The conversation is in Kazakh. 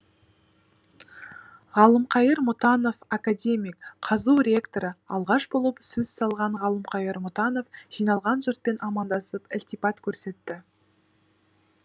ғалымқайыр мұтанов академик қазұу ректоры алғаш болып сөз салған ғалымқайыр мұтанов жиналған жұртпен амандасып ілтипат көрсетті